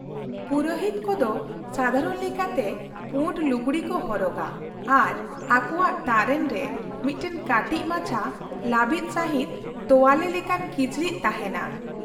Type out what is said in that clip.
ᱯᱩᱨᱳᱦᱤᱛ ᱠᱚᱫᱚ ᱥᱟᱫᱷᱟᱨᱚᱱ ᱞᱮᱠᱟᱛᱮ ᱯᱩᱸᱰ ᱞᱩᱜᱲᱤ ᱠᱚ ᱦᱚᱨᱚᱜᱟ ᱟᱨ ᱟᱠᱳᱣᱟᱜ ᱛᱟᱨᱮᱱ ᱨᱮ ᱢᱤᱫᱴᱟᱝ ᱠᱟᱹᱴᱤᱡ ᱢᱟᱪᱷᱟ ᱞᱟᱹᱵᱤᱫ ᱥᱟᱹᱦᱤᱡ ᱛᱚᱣᱟᱞᱮ ᱞᱮᱠᱟᱱ ᱠᱤᱪᱨᱤᱡ ᱛᱟᱦᱮᱱᱟ ᱾